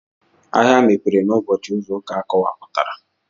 Ahịa mepere n'ụbọchị izu ụka akọwapụtara.